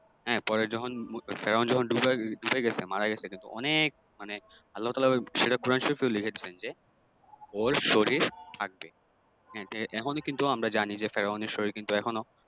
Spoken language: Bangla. হ্যাঁ পরে যখন ফেরাউন যখন ডুইবা গেছে মারা গেছে কিন্তু অনেক মানে আল্লাহতাআলা সেটা কোরআন শরীফেও লিখেছিলেন যে ওর শরীর থাকবে । হ্যাঁ তো এখনও কিন্তু আমরা জানি যে ফেরাউনের শরীর কিন্তু এখনো